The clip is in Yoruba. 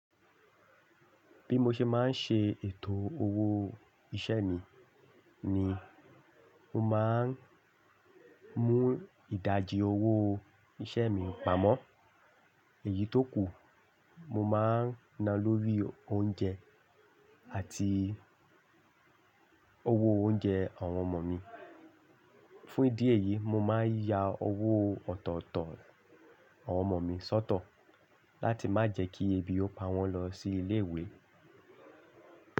Bí mo ṣe máa ń ṣe ètò owó iṣẹ́ mi ni mo má ń mú ìdajì owó iṣẹ́ mi pamọ́. Èyí tó kù, mo máa ń ná lórí oúnjẹ àti owó oúnjẹ àwọn ọmọ mi. Fún ìdí èyí, mo máa ń ya owó ọ̀tọ̀ọ̀tọ̀ àwọn ọmọ mi sọ́tọ̀ láti má jẹ́ kí ebi ó pa wọ́n lọ sí ilé ìwé.